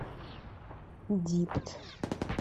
дипт